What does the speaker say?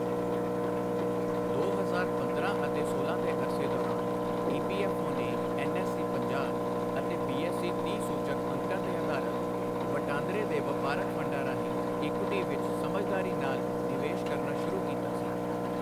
ਦੋ ਹਜ਼ਾਰ ਪੰਦਰਾਂ ਅਤੇ ਸੋਲਾਂ ਦੇ ਅਰਸੇ ਦੌਰਾਨ ਈਪੀਐਫਓ ਨੇ ਐਨਐਸਈ ਪੰਜਾਹ ਅਤੇ ਬੀਐਸਈ ਤੀਹ ਸੂਚਕ ਅੰਕਾਂ ਤੇ ਆਧਾਰਤ, ਵਟਾਂਦਰੇ ਦੇ ਵਪਾਰਕ ਫੰਡਾਂ ਰਾਹੀਂ ਇਕੁਵਿਟੀ ਵਿਚ ਸਮਝਦਾਰੀ ਨਾਲ ਨਿਵੇਸ਼ ਕਰਨਾ ਸ਼ੁਰੂ ਕੀਤਾ ਸੀ।